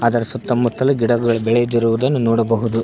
ಇದರ ಸುತ್ತ ಮುತ್ತಲು ಗಿಡಗಳ್ ಬೇಳೆದಿರುವುದನ್ನು ನೋಡಬಹುದು.